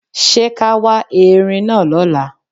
Ṣé ká wá Erin náà lọ́la?